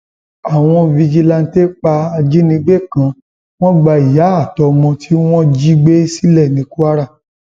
àwọn fijilanté pa ajínigbé kan wọn gba ìyá àtọmọ tí wọn jí gbé sílẹ ní kwara